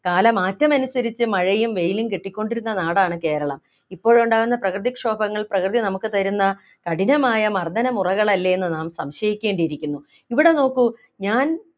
കാലമാറ്റമനുസരിച്ചു മഴയും വെയിലും കിട്ടിക്കൊണ്ടിരുന്ന നാടാണ് കേരളം ഇപ്പോഴുണ്ടാകുന്ന പ്രകൃതിക്ഷോഭങ്ങൾ പ്രകൃതി നമുക്ക് തരുന്ന കഠിനമായ മർദന മുറകളല്ലേ എന്ന് നാം സംശയിക്കേണ്ടിയിരിക്കുന്നു ഇവിടെ നോക്കു ഞാൻ